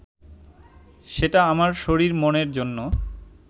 সেটা আমার শরীর-মনের জন্য